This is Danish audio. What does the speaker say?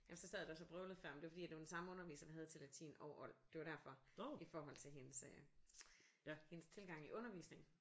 Jamen så sad jeg da også og vrøvlede før men det var fordi det var den samme underviser der havde til latin og old det var derfor i forhold til hendes øh hendes tilgang i undervisningen